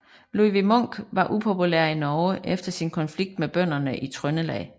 Ludvig Munk var upopulær i Norge efter sin konflikt med bønderne i Trøndelag